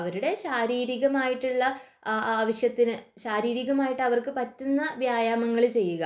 അവരുടെ ശാരീരികമായിട്ടുള്ള ആവശ്യത്തിന് ശാരീരികമായിട്ടു അവർക്ക് പറ്റുന്ന വ്യായാമങ്ങൾ ചെയ്യുക